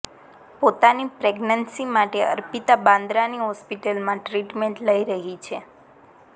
પોતાની પ્રેગનન્સી માટે અર્પિતા બાંદરાની હોસ્પિટલમાં ટ્રીટમેન્ટ લઈ રહી છે